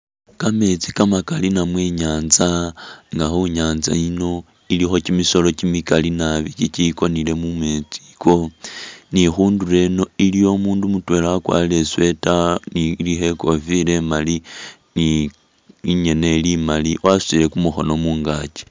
Kameetsi kamakali namwe i'nyaanza nga khu nyaanza yino ilikho kimisolo kimikali nabi ikikonile mumeetsi iko ni khundulo eno iliyo umuundu mutweela wakwarire i'sweater ni ilikho i'kofila imali ni ingene ili imali wasutile kumukhono mungaki.